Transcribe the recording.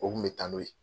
O kun bɛ taa n'o ye